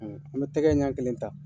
N be tɛgɛ ɲɛ kelen ta